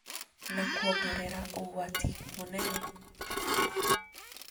Na kuongerera ũgwati mũnene.